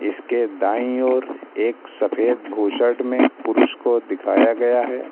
इसके दाई ओर एक सफेद बुशर्ट में पुरुष को दिखाया गया है।